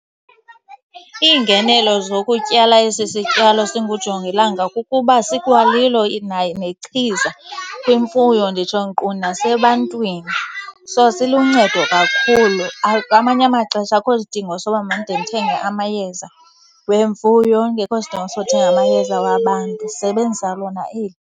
Iingenelo zokutyala esi sityalo singujongilanga kukuba sikwalilo nayo nechiza kwimfuyo, nditsho nkqu nasebantwini. So siluncedo kakhulu. Amanye amaxesha akukho sidingo soba mandide ndithenge amayeza wemfuyo, kungekho sidingo sokuthenga amayeza wabantu, ndisebenzisa lona eli.